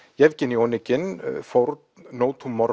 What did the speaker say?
Oneg in fórn no